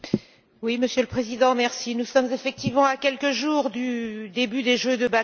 Monsieur le Président, nous sommes effectivement à quelques jours du début des Jeux européens de Bakou.